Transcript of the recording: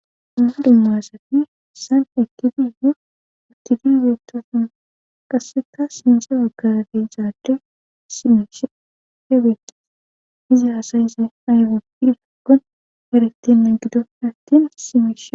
Humma dummaasati san ekifiihu utifibeetta sun qasseka sinse waggarati zaade simeshe heebeei hiza asayise maybapifaggon heretenna gido nattin simeshe.